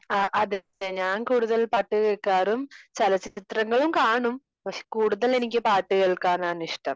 അഹ് അതെ ഞാൻ കൂടുതൽ പാട്ട് കേൾക്കാറും ചലച്ചിത്രങ്ങളും കാണും പക്ഷെ കൂടുതൽ എനിക്ക് പാട്ട് കേൾക്കാൻ ആണ് ഇഷ്ടം